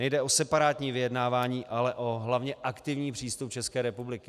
Nejde o separátní vyjednávání, ale hlavně o aktivní přístup České republiky.